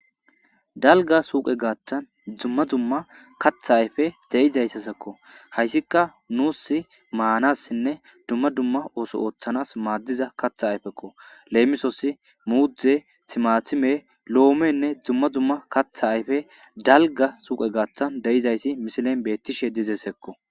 dalgga suuqe gattan dumma dumma kaththa ayfe deyizayssasekko hayssika nuus maanassinne dumma dumma ooso ooththanas maddiza kaththa ayfekko leemisosi muuze timatiime loomenne dumma dumma kaththa ayfe dalgga suuqe gaththan deyizayssi misilen betiishshe dizesakko